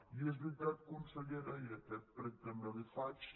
i és veritat consellera i aquest prec també l’hi faig